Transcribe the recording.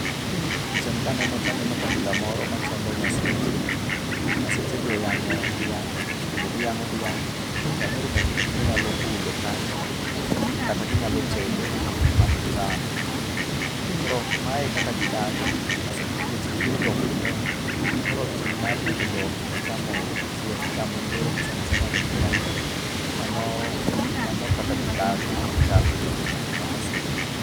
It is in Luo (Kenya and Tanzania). Picha ni kaneno to aneno kabila moro machalo maseche. Maseche gi oyang'o dhiang' kendo giyang'o dhiang'. Chal ni ring'o gi ginyalo bulo kanyo. Kata ginyalo tedo ma gicham. Koro mae e kaka gidak ma seche nikech gipodho dhok mang'eny. Koro tim mar nego dhok gi chamo le sana sana ring dhiangni. Mano kaka gidak. Mano e chalgi kochacha kaka maseche.